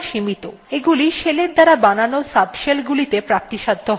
এগুলি শেলের দ্বারা বানানো subshellগুলিতে প্রাপ্তিসাধ্য হয় না